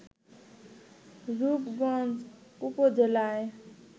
রূপগঞ্জ উপজেলায়